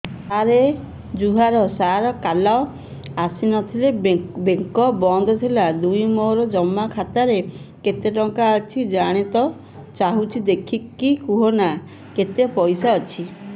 ସାର ଜୁହାର ସାର କାଲ ଆସିଥିନି ବେଙ୍କ ବନ୍ଦ ଥିଲା ମୁଇଁ ମୋର ଜମା ଖାତାରେ କେତେ ଟଙ୍କା ଅଛି ଜାଣତେ ଚାହୁଁଛେ ଦେଖିକି କହୁନ ନା କେତ ପଇସା ଅଛି